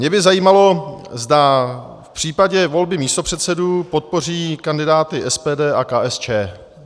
Mě by zajímalo, zda v případě volby místopředsedů podpoří kandidáty SPD a KSČM.